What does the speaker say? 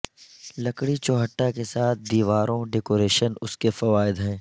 لکڑی چوھٹا کے ساتھ دیواروں ڈیکوریشن اس کے فوائد ہیں